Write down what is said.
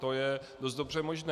To je dost dobře možné.